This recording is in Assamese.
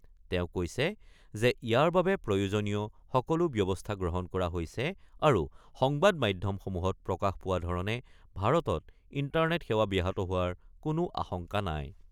তেওঁ কৈছে যে ইয়াৰ বাবে প্ৰযোজনীয় সকলো ব্যৱস্থা গ্ৰহণ কৰা হৈছে আৰু সংবাদ মাধ্যমসমূহত প্ৰকাশ পোৱা ধৰণে ভাৰতত ইণ্টাৰনেট সেৱা ব্যাহত হোৱাৰ কোনো আশংকা নাই।